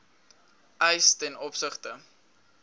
eis ten opsigte